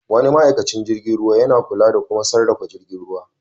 Wani ma'aikacin jirgin ruwa yana kula da kuma sarrafa jirgin ruwa.